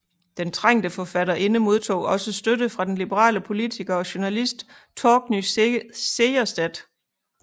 Den trængte forfatterinde modtog også støtte fra den liberale politiker og journalist Torgny Segerstedt